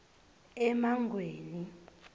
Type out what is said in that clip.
emangweni